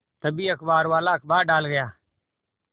तभी अखबारवाला अखबार डाल गया